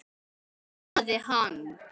þrumaði hann.